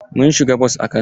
Mun siga bos a Kano.